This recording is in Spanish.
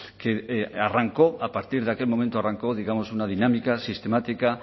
que arrancó a partir de aquel momento arrancó digamos una dinámica sistemática